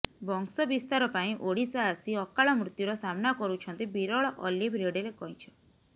ବଂଶ ବିସ୍ତାର ପାଇଁ ଓଡ଼ିଶା ଆସି ଅକାଳ ମୃତ୍ୟୁର ସାମ୍ନା କରୁଛନ୍ତି ବିରଳ ଅଲିଭ୍ ରିଡଲେ କବଁଛ